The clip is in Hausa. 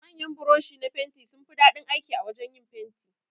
Manyan buroshi na fenti sunfi daɗin aiki a wajan yin fenti.